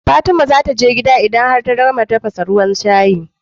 Fatima zataje gida idan ta gama tafasa ruwan shayi